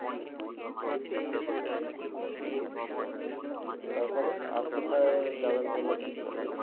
তারপরে আর কোথায় যাবেন বলে ঠিক করলেন?